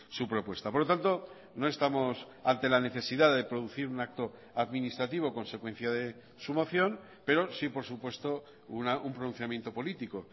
su propuesta por lo tanto no estamos ante la necesidad de producir un acto administrativo consecuencia de su moción pero sí por supuesto un pronunciamiento político